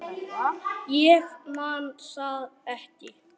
Ég man það ekki.